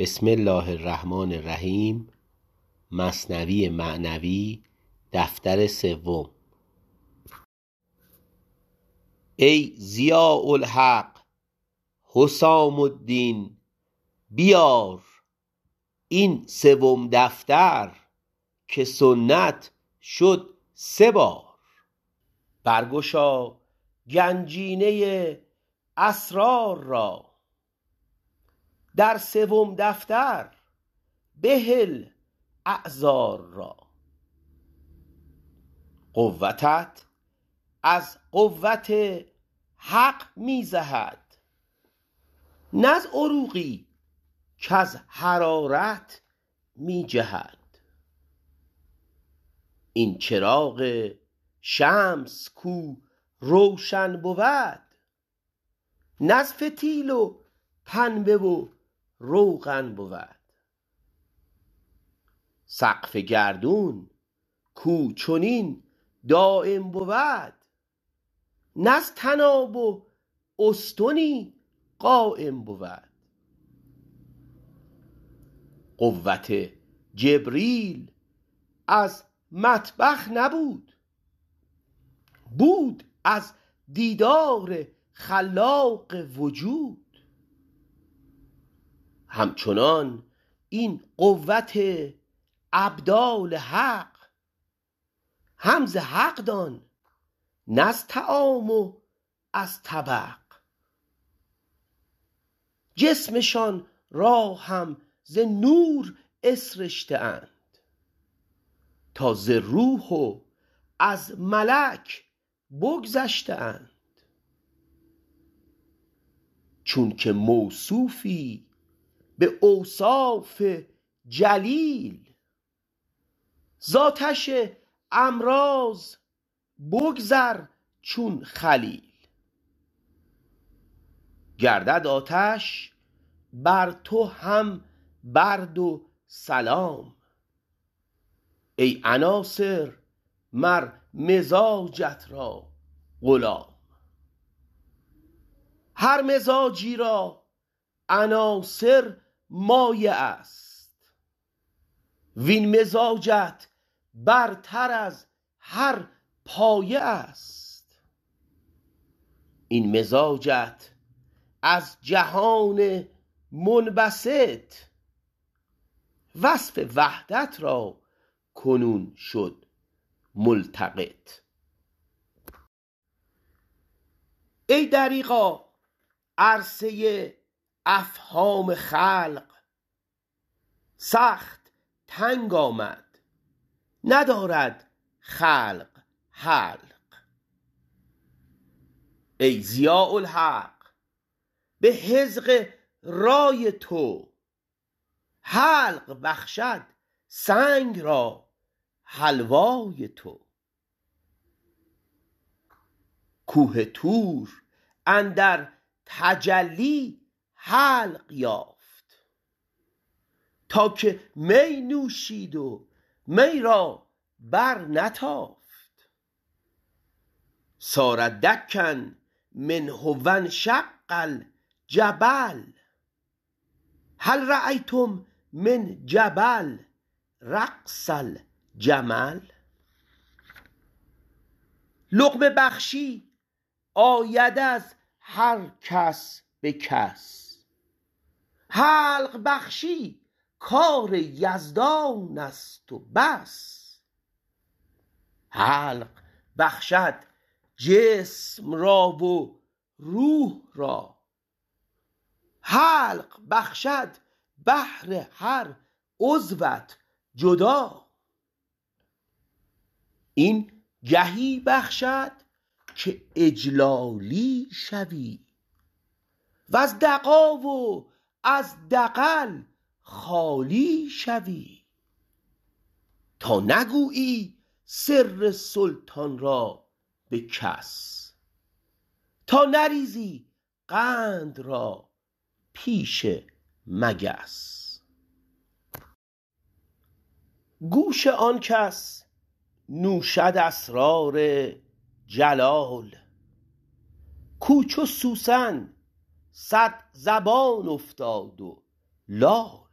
ای ضیاء الحق حسام الدین بیار این سوم دفتر که سنت شد سه بار بر گشا گنجینه اسرار را در سوم دفتر بهل اعذار را قوتت از قوت حق می زهد نه از عروقی کز حرارت می جهد این چراغ شمس کو روشن بود نه از فتیل و پنبه و روغن بود سقف گردون کو چنین دایم بود نه از طناب و استنی قایم بود قوت جبریل از مطبخ نبود بود از دیدار خلاق وجود همچنان این قوت ابدال حق هم ز حق دان نه از طعام و از طبق جسمشان را هم ز نور اسرشته اند تا ز روح و از ملک بگذشته اند چونک موصوفی به اوصاف جلیل ز آتش امراض بگذر چون خلیل گردد آتش بر تو هم برد و سلام ای عناصر مر مزاجت را غلام هر مزاجی را عناصر مایه است وین مزاجت برتر از هر پایه است این مزاجت از جهان منبسط وصف وحدت را کنون شد ملتقط ای دریغا عرصه افهام خلق سخت تنگ آمد ندارد خلق حلق ای ضیاء الحق به حذق رای تو حلق بخشد سنگ را حلوای تو کوه طور اندر تجلی حلق یافت تا که می نوشید و می را بر نتافت صار دکا منه وانشق الجبل هل رایتم من جبل رقص الجمل لقمه بخشی آید از هر کس به کس حلق بخشی کار یزدانست و بس حلق بخشد جسم را و روح را حلق بخشد بهر هر عضوت جدا این گهی بخشد که اجلالی شوی وز دغا و از دغل خالی شوی تا نگویی سر سلطان را به کس تا نریزی قند را پیش مگس گوش آنکس نوشد اسرار جلال کو چو سوسن صدزبان افتاد و لال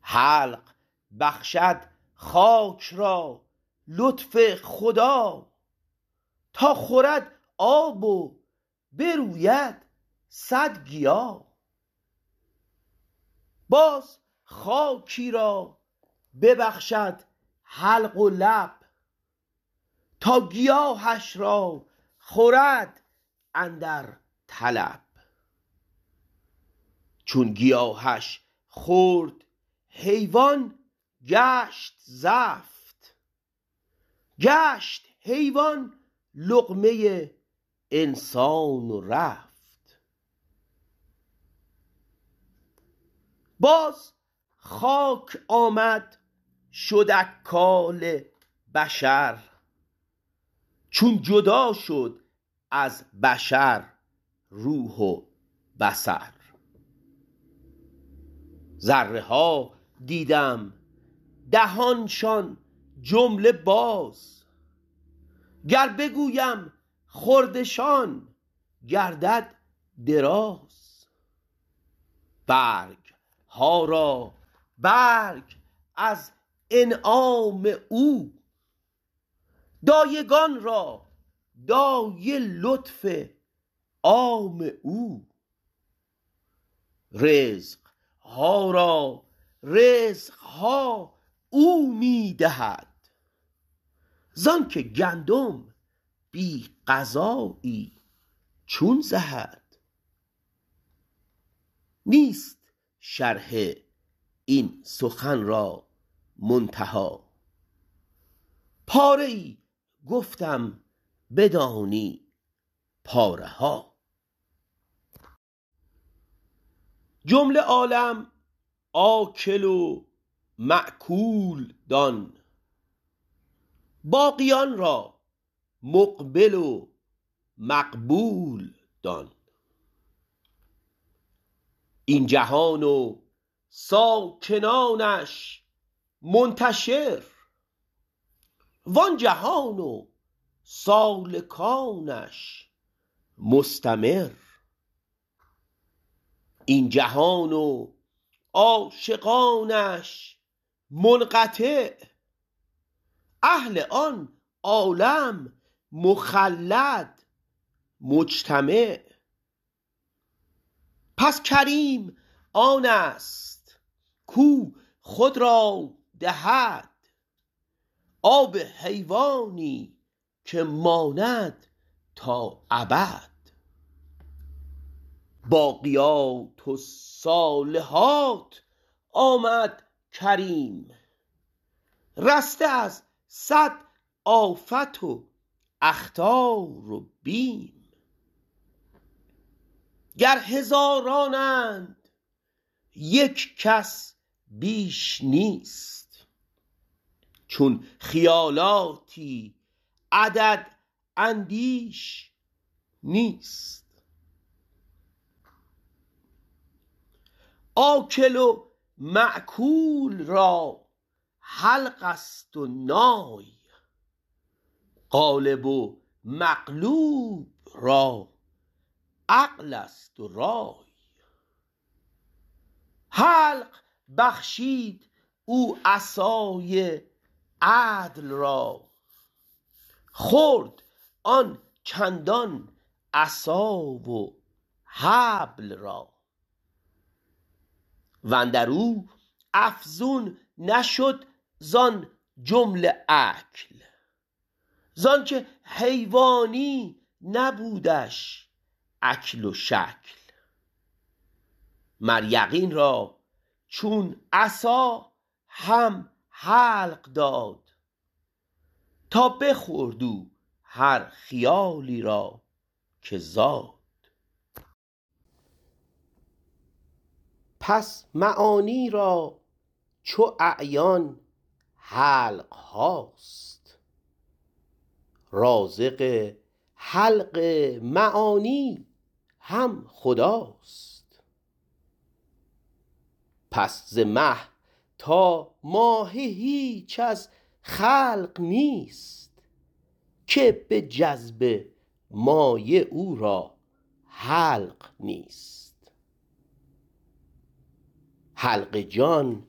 حلق بخشد خاک را لطف خدا تا خورد آب و بروید صد گیا باز خاکی را ببخشد حلق و لب تا گیاهش را خورد اندر طلب چون گیاهش خورد حیوان گشت زفت گشت حیوان لقمه انسان و رفت باز خاک آمد شد اکال بشر چون جدا شد از بشر روح و بصر ذره ها دیدم دهانشان جمله باز گر بگویم خوردشان گردد دراز برگها را برگ از انعام او دایگان را دایه لطف عام او رزقها را رزقها او می دهد زانک گندم بی غذایی چون زهد نیست شرح این سخن را منتهی پاره ای گفتم بدانی پاره ها جمله عالم آکل و ماکول دان باقیان را مقبل و مقبول دان این جهان و ساکنانش منتشر وان جهان و سالکانش مستمر این جهان و عاشقانش منقطع اهل آن عالم مخلد مجتمع پس کریم آنست کو خود را دهد آب حیوانی که ماند تا ابد باقیات الصالحات آمد کریم رسته از صد آفت و اخطار و بیم گر هزارانند یک کس بیش نیست چون خیالاتی عدد اندیش نیست آکل و ماکول را حلقست و نای غالب و مغلوب را عقلست و رای حلق بخشید او عصای عدل را خورد آن چندان عصا و حبل را واندرو افزون نشد زان جمله اکل زانک حیوانی نبودش اکل و شکل مر یقین را چون عصا هم حلق داد تا بخورد او هر خیالی را که زاد پس معانی را چو اعیان حلقهاست رازق حلق معانی هم خداست پس ز مه تا ماهی هیچ از خلق نیست که به جذب مایه او را حلق نیست حلق جان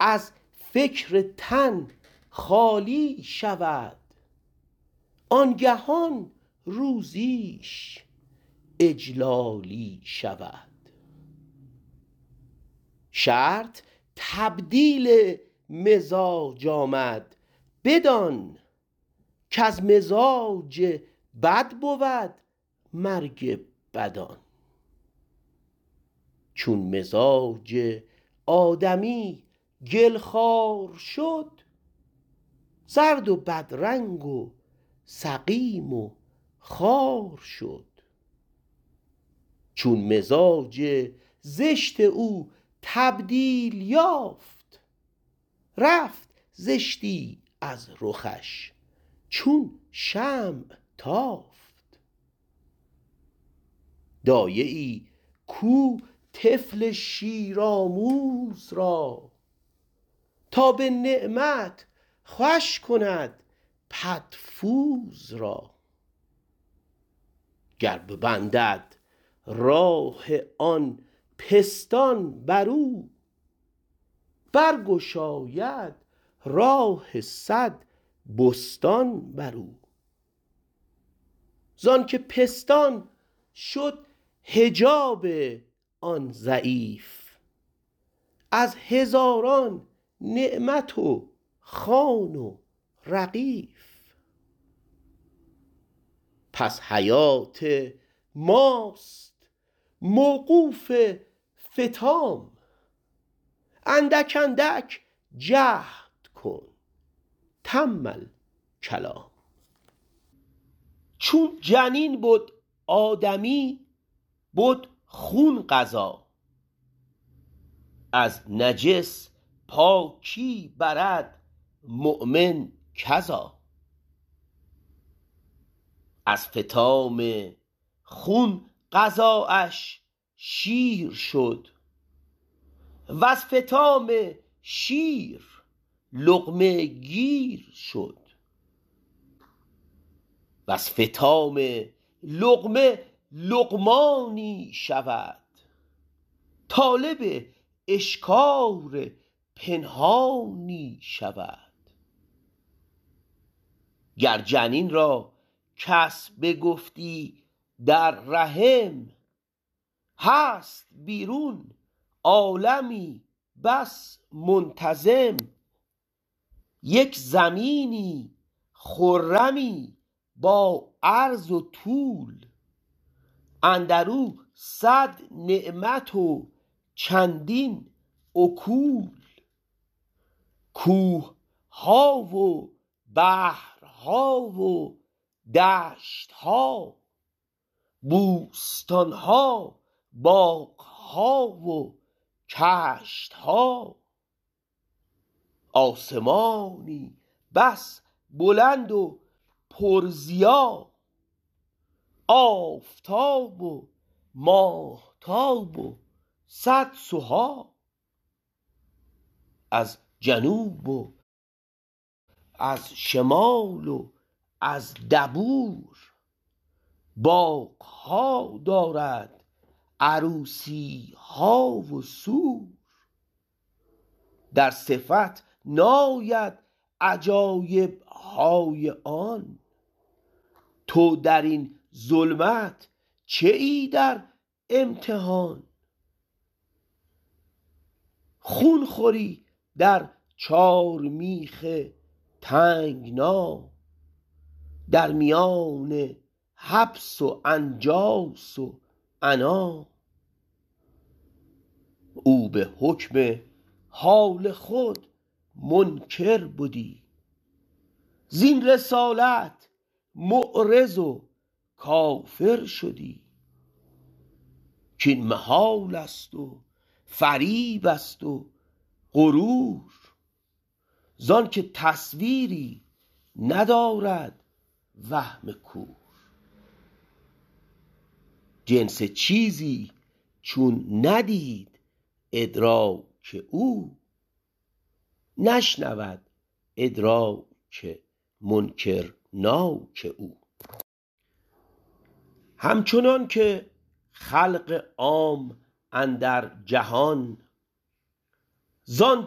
از فکر تن خالی شود آنگهان روزیش اجلالی شود شرط تبدیل مزاج آمد بدان کز مزاج بد بود مرگ بدان چون مزاج آدمی گل خوار شد زرد و بدرنگ و سقیم و خوار شد چون مزاج زشت او تبدیل یافت رفت زشتی از رخش چون شمع تافت دایه ای کو طفل شیرآموز را تا به نعمت خوش کند پدفوز را گر ببندد راه آن پستان برو برگشاید راه صد بستان برو زانک پستان شد حجاب آن ضعیف از هزاران نعمت و خوان و رغیف پس حیات ماست موقوف فطام اندک اندک جهد کن تم الکلام چون جنین بد آدمی بد خون غذا از نجس پاکی برد مؤمن کذا از فطام خون غذااش شیر شد وز فطام شیر لقمه گیر شد وز فطام لقمه لقمانی شود طالب اشکار پنهانی شود گر جنین را کس بگفتی در رحم هست بیرون عالمی بس منتظم یک زمینی خرمی با عرض و طول اندرو صد نعمت و چندین اکول کوهها و بحرها و دشتها بوستانها باغها و کشتها آسمانی بس بلند و پر ضیا آفتاب و ماهتاب و صد سها از جنوب و از شمال و از دبور باغها دارد عروسیها و سور در صفت ناید عجایبهای آن تو درین ظلمت چه ای در امتحان خون خوری در چارمیخ تنگنا در میان حبس و انجاس و عنا او به حکم حال خود منکر بدی زین رسالت معرض و کافر شدی کین محالست و فریبست و غرور زانک تصویری ندارد وهم کور جنس چیزی چون ندید ادراک او نشنود ادراک منکرناک او همچنانک خلق عام اندر جهان زان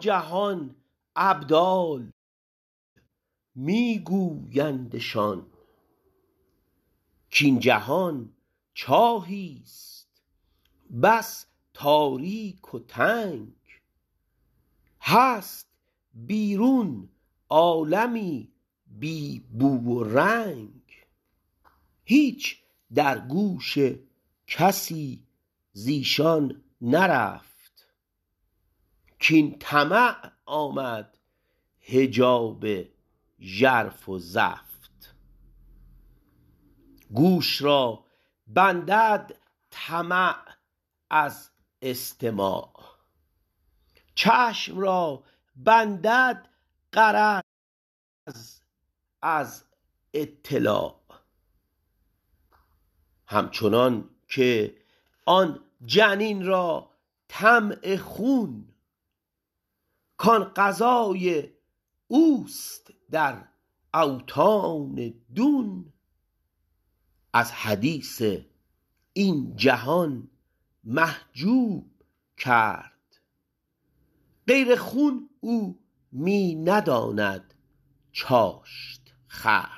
جهان ابدال می گویندشان کین جهان چاهیست بس تاریک و تنگ هست بیرون عالمی بی بو و رنگ هیچ در گوش کسی زیشان نرفت کین طمع آمد حجاب ژرف و زفت گوش را بندد طمع از استماع چشم را بندد غرض از اطلاع همچنانک آن جنین را طمع خون کان غذای اوست در اوطان دون از حدیث این جهان محجوب کرد غیر خون او می نداند چاشت خورد